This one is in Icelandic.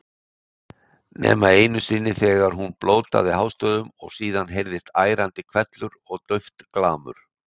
Nema einu sinni þegar hún blótaði hástöfum og síðan heyrðist ærandi hvellur og dauft glamur.